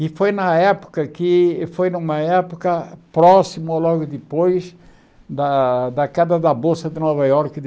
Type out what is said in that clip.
E foi na época que foi numa época próxima ou logo depois da da queda da Bolsa de Nova Iorque de